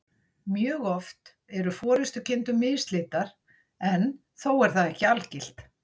Mjög oft eru forystukindur mislitar, en þó er það ekki algilt.